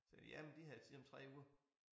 Så jamen de havde ligesom 3 uger